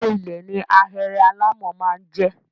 Ilé -ilẹ̀ ni ahéré alámọ̀ máa ń jẹ́.